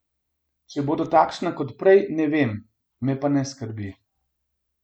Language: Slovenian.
Če bodo takšna kot prej, ne vem, me pa ne skrbi.